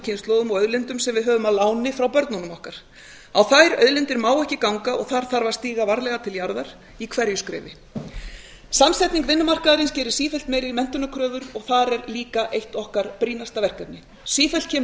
kynslóðum og auðlindum sem við höfum að láni frá börnunum okkar á þær auðlindir má ekki ganga og þar þarf að stíga varlega til jarðar í hverju skrefi samsetning vinnumarkaðarins gerir sífellt meiri menntunarkröfur og þar er líka eitt okkar brýnasta verkefni sífellt kemur í